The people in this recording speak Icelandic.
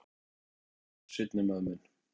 Þetta er hann Brimar. seinni maðurinn minn.